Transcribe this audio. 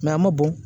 a ma bɔn